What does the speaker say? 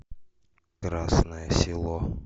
красное село